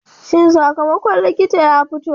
Shin sakamakon likita ya fito?